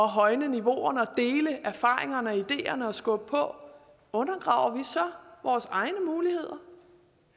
højne niveauerne og deler erfaringerne og ideerne og skubber på undergraver vi så vores egne muligheder